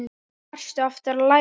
Hvað varstu aftur að læra?